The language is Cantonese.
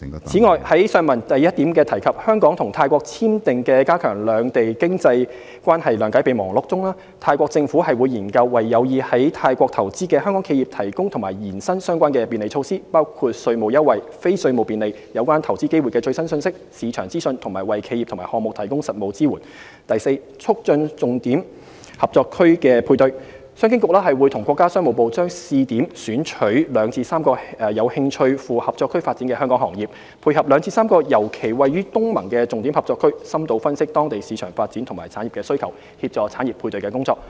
此外，在上文第一部分提及香港與泰國簽訂的"加強兩地經濟關係諒解備忘錄"中，泰國政府會研究為有意在泰國投資的香港企業提供及延伸相關便利措施，包括稅務優惠、非稅務便利、有關投資機會的最新信息、市場資訊，以及為企業及項目提供實務支援；及促進重點合作區配對：商經局會與國家商務部將試點選取2至3個有興趣赴合作區發展的香港行業，配合2至3個尤其位於東盟的重點合作區，深度分析當地市場發展及產業需求，協助產業配對合作。